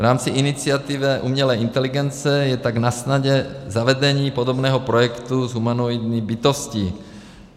V rámci iniciativy umělé inteligence je tak nasnadě zavedení podobného projektu s humanoidní bytostí.